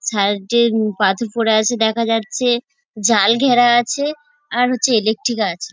সারডেন পাথর পরে আছে দেখা যাচ্ছে জাল ঘেরা আছে আর হচ্ছে ইলেকট্রিক আছে ।